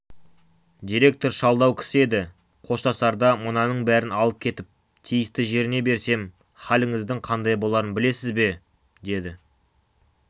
директор шалдау кісі еді қоштасарда мынаның бәрін алып кетіп тиісті жеріне берсем халіңіздің қандай боларын білесіз бе деді